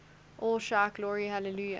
all shout glory hallelujah